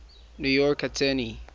new york attorney